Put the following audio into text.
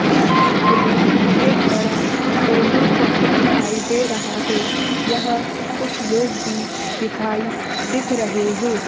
इस चित्र में एक बड़ा पेट्रोल पंप दिखाई दे रहा है यहां कुछ लोग भी दिखाई दिख रहे हैं।